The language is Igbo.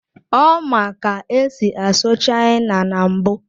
Ọ ma ka esi asụ China na mbụ.